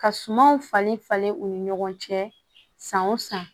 Ka sumanw falen falen u ni ɲɔgɔn cɛ san o san